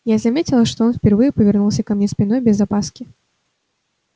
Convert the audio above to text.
я заметила что он впервые повернулся ко мне спиной без опаски